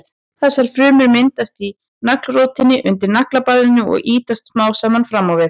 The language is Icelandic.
Þessar frumur myndast í naglrótinni undir naglabandinu og ýtast smám saman fram á við.